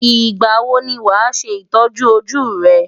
Ìgbà wo ni wàá ṣe ìtọ́jú ojú rẹ?